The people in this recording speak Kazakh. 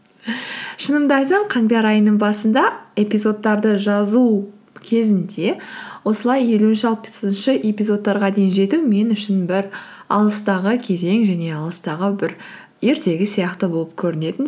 шынымды айтсам қаңтар айының басында эпизодтарды жазу кезінде осылай елуінші алпысыншы эпизодтарға дейін жету мен үшін бір алыстағы кезең және алыстағы бір ертегі сияқты болып көрінетін